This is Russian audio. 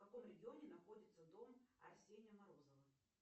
в каком регионе находится дом арсения морозова